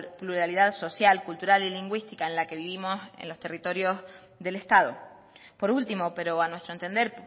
pluralidad social cultural y lingüística en la que vivimos en los territorios del estado por último pero a nuestro entender